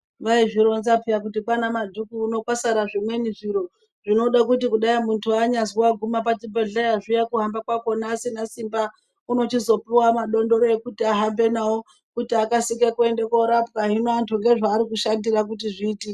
Vaizvironza peya kuti kwana Madhuku uno kwasara zvimweni zviro zvinode kuti kudaii muntu anyazwi waguma pachibhedhlera zviya kuhamba kwakona asina simba unochizopuwa madondoro ekuti ahambe nawo kuti akasire kuende korapwa hino antu ngezvaari kushandisa kuti zviitike.